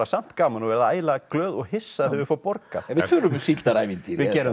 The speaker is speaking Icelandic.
samt gaman og verða ægilega glöð og hissa þegar þau fá borgað en við tölum um síldarævintýri